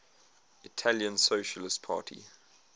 italian socialist party